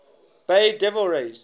bay devil rays